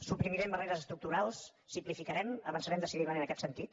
suprimirem barreres estructurals simplificarem avançarem decididament en aquest sentit